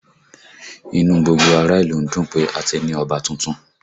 Inú gbogbo ará ìlú ń dùn pé a ti ní Ọba tuntun